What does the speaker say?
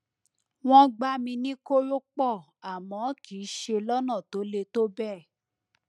wọn gbá mi ní kórópọọ àmọ kìí ṣe lọnà tó le tó bẹẹ